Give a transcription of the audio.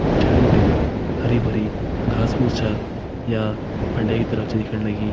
पिछाड़ी बिटिन हरी भरी घास फूस छ या फंडे की तरफ छ दिखेण लगीं।